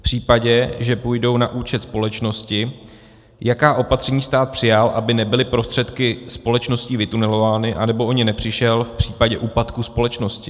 V případě, že půjdou na účet společnosti, jaká opatření stát přijal, aby nebyly prostředky společností vytunelovány anebo o ně nepřišel v případě úpadku společnosti?